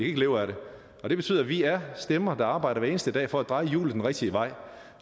ikke leve af dem og det betyder at vi er stemmer der arbejder hver eneste dag for at dreje hjulet den rigtige vej